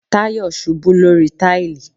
Tayo ṣubú lórí táìlì